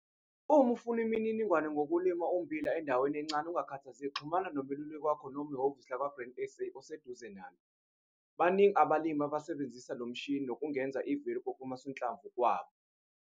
Uma ufuna imininingwane ngokulima ummbila endaweni encane ungakhathazeki xhumana nomeluleki wakho noma nehhovisi lakwaGrain SA oseduze nalo. Baningi abalimi asebesebenzisa le mishini nokungeza i-value kokusanhlamvu kwabo.